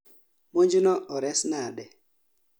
Monjno ores nade?